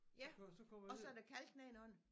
Ja og så er der kalk nedenunder